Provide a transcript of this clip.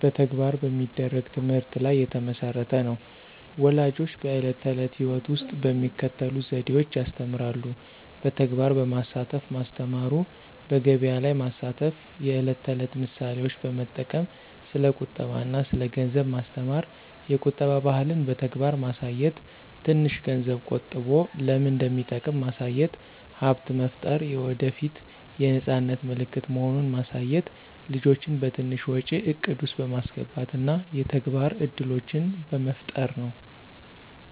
በተግባር በሚደረግ ትምህርት ላይ የተመሠረተ ነው። ፣ ወላጆች በዕለት ተዕለት ሕይወት ውስጥ በሚከተሉት ዘዴዎች ያስተምራሉ። በተግባር በማሳተፍ ማስተማሩ፣ በገቢያ ላይ ማስተፍ፣ የዕለት ተዕለት ምሳሌዎች በመጠቅም ስለ ቁጠባ አና ስለ ገንዘብ ማስተማሩ፣ የቁጠባ ባህልን በተግባር ማሳየት፣ ትንሽ ገንዝብ ቆጠቦ ለምን እንደሚጠቅም ማሳየት፣ ሀብት መፍጠር የወደፏት የነፃነት ምልክት መሆኑን ማሳየት፣ ልጆችን በትንሽ ወጪ እቅድ ውስጥ በማስገባት እና የተግባር እድሎችን በመፍጠር ነው።